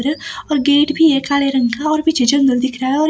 और गेट भी है काले रंग का और पीछे जंगल दिख रहा है और--